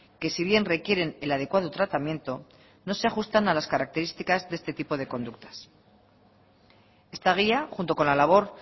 que si bien requieren el adecuado tratamiento no se ajustan a las características de este tipo de conductas esta guía junto con la labor